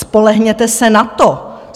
Spolehněte se na to.